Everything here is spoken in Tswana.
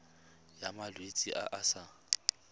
ya malwetse a a sa